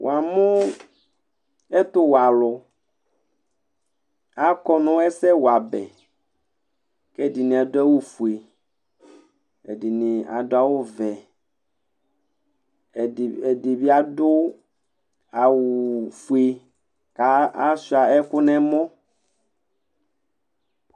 Wa lʊ ɛtʊwɛalʊ Akɔ nʊ ɛsɛwabɛ, kɛdɩnɩ adʊ awʊ fʊe Ɛdɩnɩ adʊ awʊ vɛ Ɛdɩbɩ adʊ awʊ ofʊe ka sʊa ɛkʊ nɛmɔ